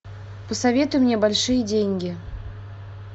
посоветуй мне большие деньги